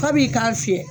K'a b'i k'a fiyɛ